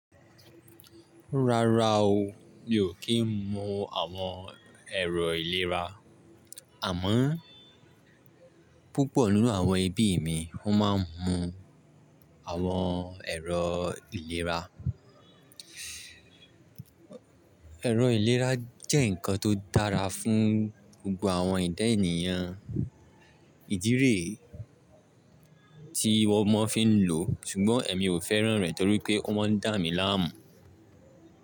Rárá o, mi ò kí ń mu àwọn ẹ̀rọ ìlera, àmọ́ púpọ̀ nínú àwọn ẹbí mi wọn máa ń mu àwọn ẹ̀rọ ìlera. Ẹ̀rọ ìlera jẹ́ nǹkan tó dára fún gbogbo àwọn ẹdá ènìyàn. Ìdí re tí wọ́n mọ fi ń lò o, ṣùgbọ́n èmi ò fẹ́ràn rẹ̀ torí pé o maa ń dà mi láàmú.